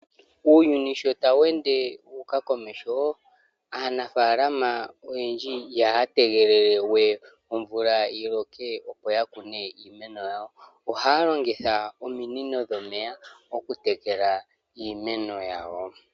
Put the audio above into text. Uuyuni sho tawu ende wa uka komesho , aanafalama oyendji ihaya tegelele we omvula yiloke opo yakune iimeno yawo, oha longitha ominino dhomeya oku tekela iimeno yawo.